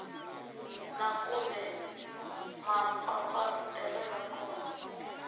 na kumbe mampfampfarhutelo ya kona